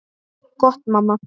Gott mamma.